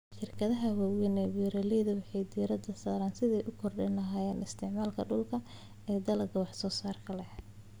Shirkadaha waaweyn ee beeralayda waxay diiradda saaraan sidii ay u kordhin lahaayeen isticmaalka dhulka ee dalagyada wax soo saarka sare leh.